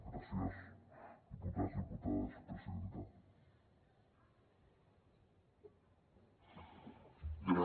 gràcies diputats diputades presidenta